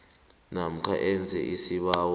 namkha enze isibawo